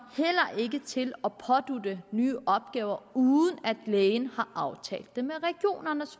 til at pådutte en nye opgaver uden at lægen har aftalt det med regionerne